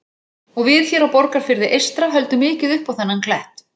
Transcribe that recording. Og við hér á Borgarfirði eystra höldum mikið upp á þennan klett.